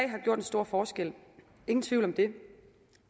har gjort en stor forskel ingen tvivl om det